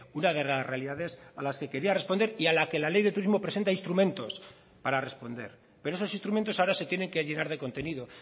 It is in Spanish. una de las realidades a las que quería responder y a la que la ley de turismo presenta instrumentos para responder pero esos instrumentos ahora se tienen que llenar de contenido